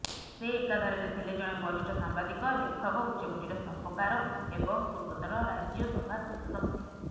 ସେ ଏକାଧାରାରେ ଥିଲେ ଜଣେ ବରିଷ୍ଠ ସାମ୍ବାଦିକ ଲେଖକ ଉଚ୍ଚକୋଟିର ସ୍ତମ୍ଭକାର ଏବଂ ପୂର୍ବତନ ରାଜ୍ୟସଭା ସାଂସଦ ମଧ୍ୟ